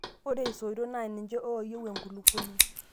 Ore isoitok naa niche ooyiu enkulukuoni.